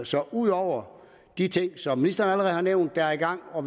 så ud over de ting som ministeren allerede har nævnt er i gang og